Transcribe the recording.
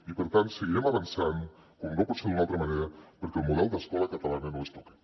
i per tant seguirem avançant com no pot ser d’una altra manera perquè el model d’escola catalana no es toqui